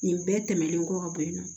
Nin bɛɛ tɛmɛnen kɔ ka bɔ yen nɔ